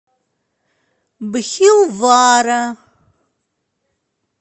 бхилвара